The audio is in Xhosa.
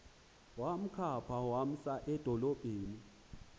wamkhapha wamsa edolophini